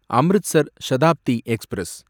Amritsar Shatabdi express